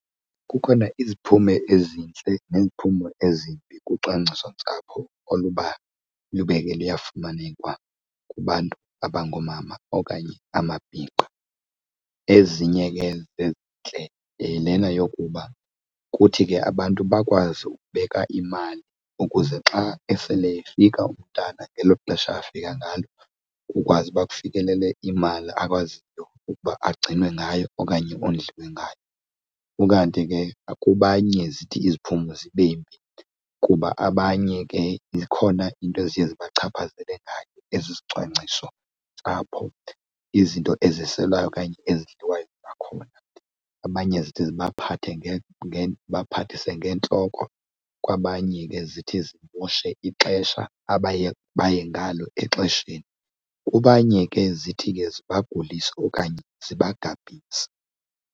Kukhona iziphumo ezintle neziphumo ezibi kwicwangcisontsapho oluba lube ke luyafumaneka kubantu abangoomama okanye amabhinqa. Ezinye ke zezintle yilena yokuba kuthi ke abantu bakwazi ukubeka imali ukuze xa esele efika umntana ngelo xesha afika ngalo kukwazi uba kufikelele imali akwaziyo ukuba agcinwe ngayo okanye ondliwe ngayo. Ukanti ke kubanye zithi iziphumo zibe mbi kuba abanye ke zikhona izinto eziye zibachaphazele ngayo ezizicwangciso ntsapho izinto eziselwayo okanye ezidliwayo khona. Abanye zithi sibaphathe zibaphathise ngeentloko, kwabanye ke zithi zimoshe ixesha abaye baye ngalo exesheni, kubanye ke zithi ke libagulise okanye zibagabhise.